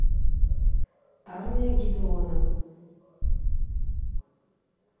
армия гедеона